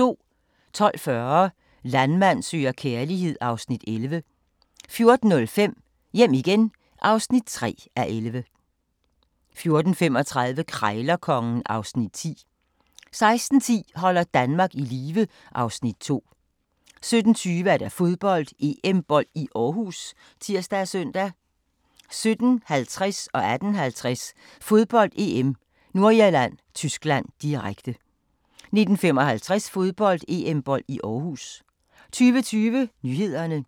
12:40: Landmand søger kærlighed (Afs. 11) 14:05: Hjem igen (3:11) 14:35: Krejlerkongen (Afs. 10) 16:10: Holder Danmark i live (Afs. 2) 17:20: Fodbold: EM-bold i Aarhus (tir og søn) 17:50: Fodbold: EM - Nordirland-Tyskland, direkte 18:50: Fodbold: EM - Nordirland-Tyskland, direkte 19:55: Fodbold: EM-bold i Aarhus 20:20: Nyhederne 20:35: Regionalprogram